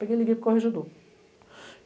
Peguei e liguei para o corregedor